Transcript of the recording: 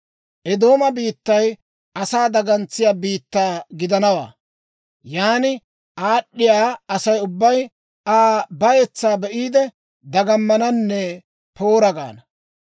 «Eedooma biittay asaa dagantsiyaa biittaa gidanawaa. Yaana aad'd'iyaa Asay ubbay Aa bayetsaa be'iide, dagamananne, ‹Poora!› gaana.